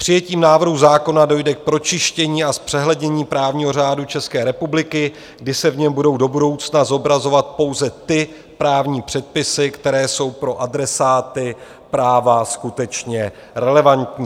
Přijetím návrhu zákona dojde k pročištění a zpřehlednění právního řádu České republiky, kdy se v něm budou do budoucna zobrazovat pouze ty právní předpisy, které jsou pro adresáty práva skutečně relevantní.